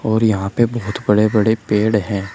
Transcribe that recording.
और यहां पे बहोत बड़े बड़े पेड़ हैं।